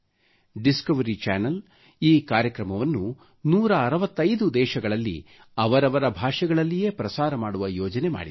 Discovery Channel ಈ ಕಾರ್ಯಕ್ರಮವನ್ನು 165 ದೇಶಗಳಲ್ಲಿ ಅವರವರ ಭಾಷೆಗಳಲ್ಲಿಯೇ ಪ್ರಸಾರ ಮಾಡುವ ಯೋಜನೆ ಮಾಡಿದೆ